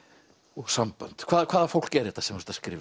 og sambönd hvaða hvaða fólk er þetta sem þú ert að skrifa